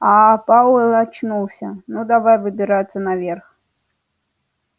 а пауэлл очнулся ну давай выбираться наверх